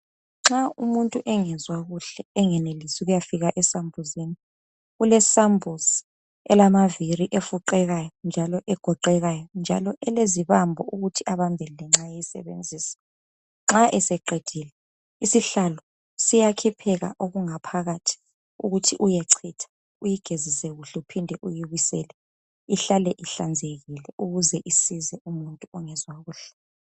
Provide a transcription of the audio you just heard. Nxa umuntu engezwa kuhle engenelisi ukuyafika esambuzini. Kulesambuzi elamaviri efuqekayo njalo egoqekayo, njalo elezibambo ukuthi abambelele nxa esebenzisa. Nxa eseqedile isihlalo siyakhipheka okungaphakathi ukuthi uyechitha uyigezise kuhle uphinde ubisele ukuze ihlale uhlanzekile.